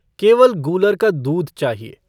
केवल गूलर का दूध चाहिए।